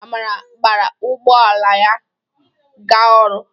Amara gbara ụgbọ ala ya ga ọrụ.